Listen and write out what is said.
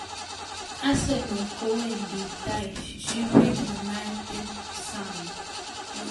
Arsenal kowendi tai Sheffield United sang